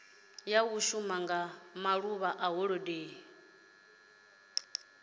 shuma nga maḓuvha a holodeni